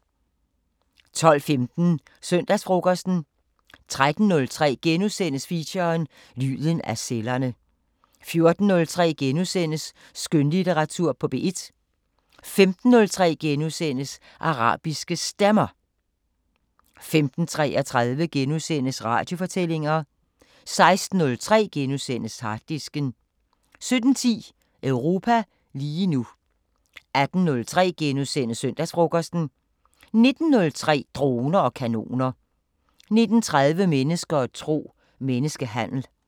12:15: Søndagsfrokosten 13:03: Feature: Lyden af cellerne * 14:03: Skønlitteratur på P1 * 15:03: Arabiske Stemmer * 15:33: Radiofortællinger * 16:03: Harddisken * 17:10: Europa lige nu 18:03: Søndagsfrokosten * 19:03: Droner og kanoner 19:30: Mennesker og tro: Menneskehandel